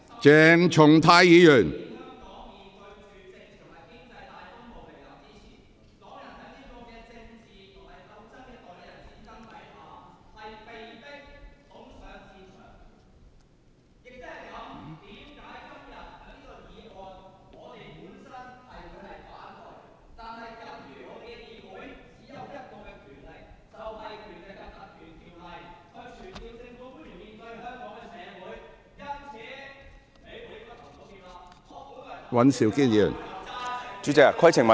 鄭松泰議員，請坐下。